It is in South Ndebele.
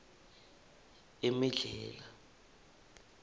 emedlhela